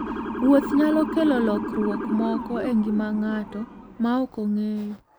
Wuoth nyalo kelo lokruok moko e ngima ng'ato ma ok ong'eyo.